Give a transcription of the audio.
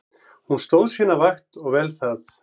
Hún stóð sína vakt og vel það.